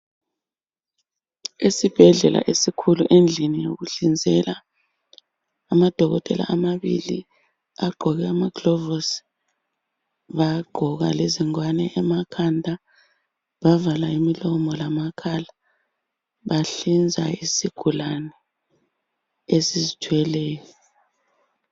Esibhedlela esikhulu endlini yokuhlinzela . Amadokotela amabili agqoke amagilovisi, bagqoka lezingwane emakhanda, bavala imilomo lamakhala, bahlinza isigulane esizithweleyo.